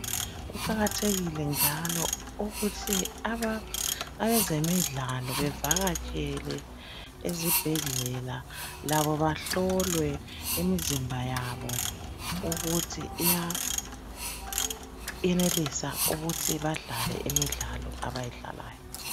Kuqakathekile njalo ukuthi aba,..,abezemidlalo, bevakatshele ezibhedlela. Labo bahlolwe imizimba yabo, ukuthi iya...,iyenelisa ukuthi badlale imidlalo abayidlalayo.